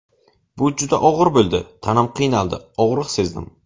Bu juda og‘ir bo‘ldi, tanam qiynaldi, og‘riq sezdim.